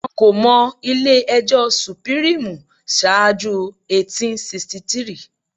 Wọn kò mọ ilé ẹjọ́ sùpírímù ṣáájú 1863